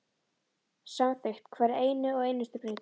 Samþykkt hverja eina og einustu breytingu.